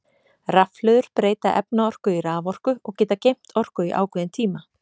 Rafhlöður breyta efnaorku í raforku og geta geymt orku í ákveðin tíma.